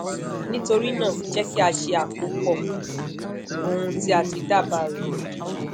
nitorina jẹ ki a ṣe akopọ ohun ti a ti dabaa re